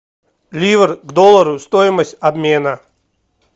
ливр к доллару стоимость обмена